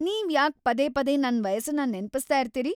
ನೀವ್ಯಾಕ್ ‌ಪದೇ ಪದೇ ನನ್ ವಯಸ್ಸನ್ನ ನೆನಪಿಸ್ತಾ ಇರ್ತೀರಿ?